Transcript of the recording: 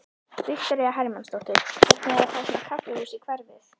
Viktoría Hermannsdóttir: Hvernig er að fá svona kaffihús í hverfið?